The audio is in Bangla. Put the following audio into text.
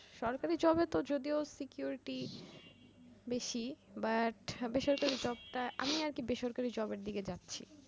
সরকারি job এ ত যদিও securty বেশি but বেসরকারি job টা আমি আরকি বেসরকারি job এর দিকে যাচ্ছি